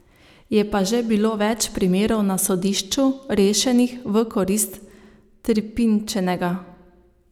Je pa že bilo več primerov na sodišču, rešenih v korist trpinčenega.